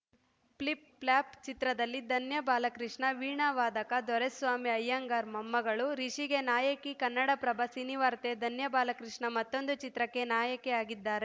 flip-flop ಚಿತ್ರದಲ್ಲಿ ಧನ್ಯ ಬಾಲಕೃಷ್ಣ ವೀಣಾವಾದಕ ದೊರೆಸ್ವಾಮಿ ಅಯ್ಯಂಗಾರ್‌ ಮೊಮ್ಮಗಳು ರಿಷಿಗೆ ನಾಯಕಿ ಕನ್ನಡಪ್ರಭ ಸಿನಿವಾರ್ತೆ ಧನ್ಯಬಾಲಕೃಷ್ಣ ಮತ್ತೊಂದು ಚಿತ್ರಕ್ಕೆ ನಾಯಕಿ ಆಗಿದ್ದಾರೆ